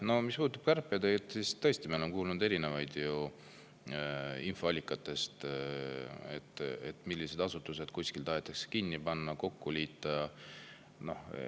No mis puudutab kärpeid, siis tõesti, me oleme kuulnud erinevatest infoallikatest, millised asutused tahetakse kuskil kinni panna või kokku liita.